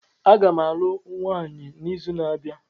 Agam alụọ nwaanyi n'izu na-abịa